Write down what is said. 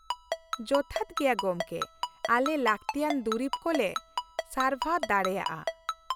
ᱡᱚᱛᱷᱟᱛ ᱜᱮᱭᱟ ᱜᱚᱢᱠᱮ ᱾ ᱟᱞᱮ ᱞᱟᱹᱠᱛᱤᱭᱟᱱ ᱫᱩᱨᱤᱵᱽ ᱠᱚ ᱞᱮ ᱥᱟᱨᱵᱷᱟᱨ ᱫᱟᱲᱮᱭᱟᱜᱼᱟ ᱾